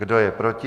Kdo je proti?